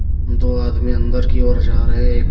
दो आदमी अंदर की और जा रहे ए --